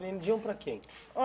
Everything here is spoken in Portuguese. Vendiam para quem?